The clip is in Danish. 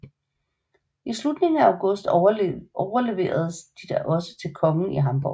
I slutningen af august overleveredes de da også til kongen i Hamborg